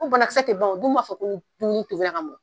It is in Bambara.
Ko banakisɛ tɛ ban u dun b'a fɔ ko dumuni tobira ka mɔ